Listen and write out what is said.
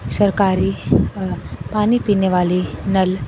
सरकारी पानी पीने वाली नल।